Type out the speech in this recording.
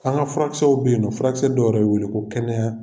An ka furakɛsɛw bɛ yen nƆ furakɛsɛ dɔ yƐrƐ bƐ wele ko kɛnɛya